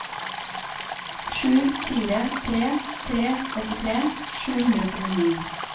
sju fire tre tre åttitre sju hundre og syttini